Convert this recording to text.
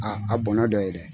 A a bɔnɔn dɔ ye dɛ.